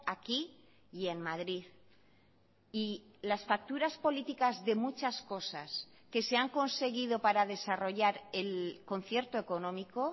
aquí y en madrid y las facturas políticas de muchas cosas que se han conseguido para desarrollar el concierto económico